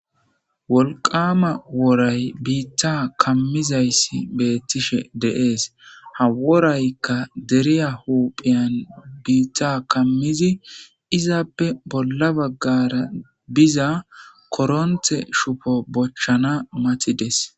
wolqama wooray biitta kammizayssi beettishe deees haworaykka deriya huuphiyan biitta kammizi izaappe bolla baggara biza koronthe shupo bochchana mati des